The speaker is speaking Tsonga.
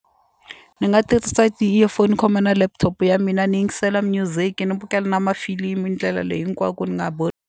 Ni nga tirhisa ti-earphone ni khoma na laptop ya mina ni yingisela music ni bukela na mafilimu ndlela leyi hinkwako ni nga .